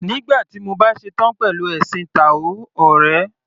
Nígbà tí mo bá ṣetán pẹ̀lú ẹ̀sìn táò ọ̀rẹ́.